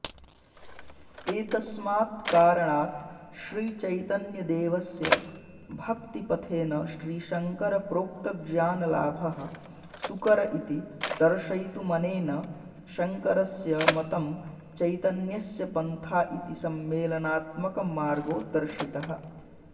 एतस्मात्कारणात् श्रीचैतन्यदेवस्य भक्तिपथेन श्रीशंकरप्रोक्तज्ञानलाभः सुकर इति दर्शयितुमनेन शंकरस्य मतं चैतनस्य पन्था इति सम्मेलनात्मकमार्गो दर्शितः